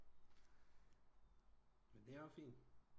Men det er også fint